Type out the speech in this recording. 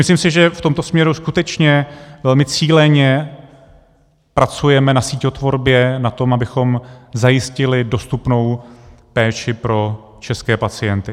Myslím si, že v tomto směru skutečně velmi cíleně pracujeme na síťotvorbě, na tom, abychom zajistili dostupnou péči pro české pacienty.